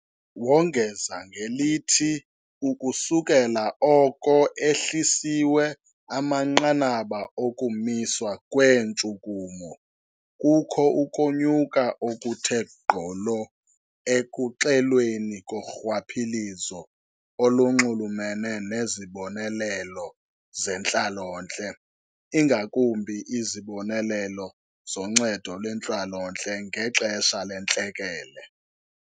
Wongeza ngelithi ukusukela oko ehlisiwe amanqanaba okumiswa kweentshukumo, kukho ukonyuka okuthe gqolo ekuxelweni korhwaphilizo olunxulumene nezibonelelo zentlalontle, ingakumbi izibonelelo zoNcedo lweNtlalontle ngexesha leNtlekele.